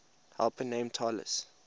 helper named talus